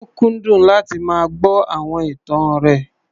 Ó kúndùn láti máa gbọ́ àwọn ìtàn rẹ̀.